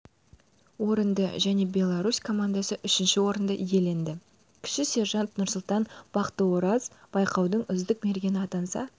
орынды және беларусь командасы үшінші орынды иеленді кіші сержант нұрсұлтан бақтыораз байқаудың үздік мергені атанса